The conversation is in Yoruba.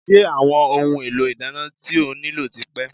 Ṣé àwọn ohun èlò ìdáná tí o nílò ti pé?